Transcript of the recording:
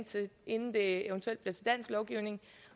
inden det eventuelt bliver til dansk lovgivning